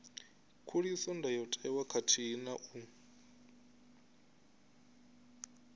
khuliso ndayotewa khathihi na u